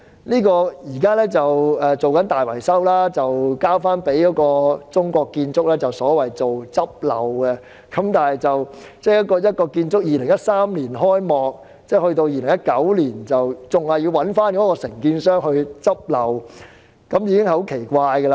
現時大樓正進行大維修，由中國建築工程有限公司負責所謂"執漏"，該幢建築物於2013年才開幕，在2019年竟要交由建造的承建商"執漏"，這實在奇怪。